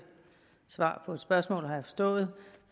svar på et spørgsmål har jeg forstået